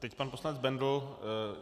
Teď pan poslanec Bendl.